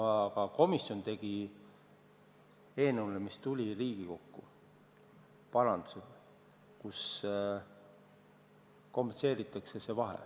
Aga komisjon tegi Riigikokku saadetud eelnõus parandusi, mis puudutavad selle vahe kompenseerimist.